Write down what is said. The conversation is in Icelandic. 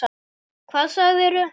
Hvað segirðu til?